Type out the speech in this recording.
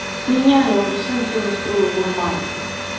меняй я уже сам все настроил нормально